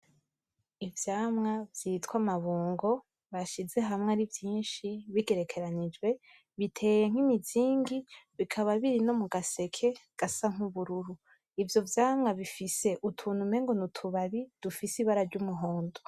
Ivyamwa vyitwa amabungo, bashize hamwe ari vyinshi bigerekanijwe biteye nk’imizingi, bikaba biri no mugaseke gasa n’ubururu. Ivyo vyamwa bifise utuntu umengo n’utubabi, dufise ibara ry’umuhondo.